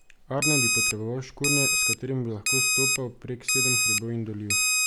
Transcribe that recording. Arne bi potreboval škornje, s katerimi bi lahko stopal prek sedem hribov in dolin.